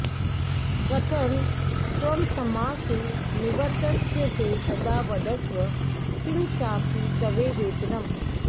कथं त्वमस्मासु निवत्स्यसे सदा वदस्व किं चापि तवेह वेतनम्